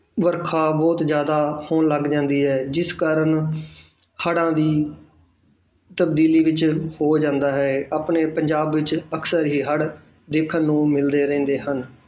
ਵਰਖਾ ਬਹੁਤ ਜ਼ਿਆਦਾ ਹੋਣ ਲੱਗ ਜਾਂਦੀ ਹੈ ਜਿਸ ਕਾਰਨ ਹੜ੍ਹਾਂ ਦੀ ਤਬਦੀਲੀ ਵਿੱਚ ਹੋ ਜਾਂਦਾ ਹੈ ਆਪਣੇ ਪੰਜਾਬ ਵਿੱਚ ਅਕਸਰ ਹੀ ਹੜ੍ਹ ਦੇਖਣ ਨੂੰ ਮਿਲਦੇ ਰਹਿੰਦੇ ਹਨ।